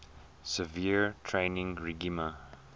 severe training regime